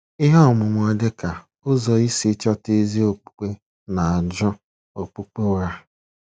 Ihe ọmụmụ dịka "ụzọ isi chọta ezi okpukpe" na- ajụ Okpukpe ụgha.